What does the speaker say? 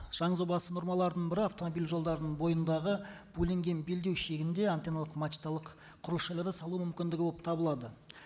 нормаларының бірі автомобиль жолдарының бойындағы бөлінген белдеу шегінде антенналық мачталық құрылыс жайларын салу мүмкіндігі болып табылады